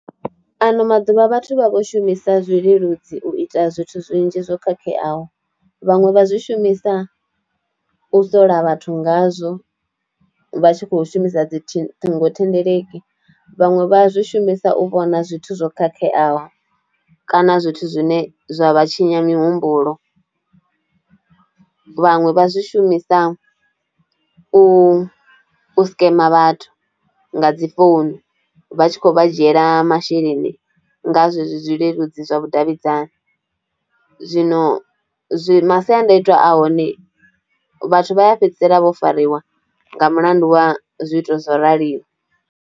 Ano maḓuvha vhathu vha vho shumisa zwileludzi u ita zwithu zwinzhi zwo khakheaho, vhaṅwe vha zwi shumisa u sola vhathu ngazwo vha tshi kho shumisa dzi ṱhingo thendeleki, vhaṅwe vha zwi shumisa u vhona zwithu zwo khakheaho kana zwithu zwine zwa vha tshinya mihumbulo, vhaṅwe vha zwi shumisa u scam vhathu nga dzi founu vha tshi khou vha dzhiela masheleni nga zwezwi zwi zwileludzi zwa vhudavhidzani, zwino zwi masiandaitwa a hone vhathu vha ya fhedzisela vho fariwa nga mulandu wa zwithu zwo raliho.